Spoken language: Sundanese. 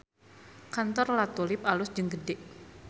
Kantor La Tulip alus jeung gede